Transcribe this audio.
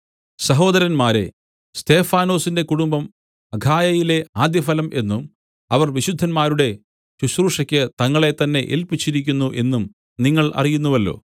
സഹോദരന്മാരേ സ്തെഫാനാസിന്റെ കുടുംബം അഖായയിലെ ആദ്യഫലം എന്നും അവർ വിശുദ്ധന്മാരുടെ ശുശ്രൂഷയ്ക്ക് തങ്ങളെത്തന്നെ ഏല്പിച്ചിരിക്കുന്നു എന്നും നിങ്ങൾ അറിയുന്നുവല്ലോ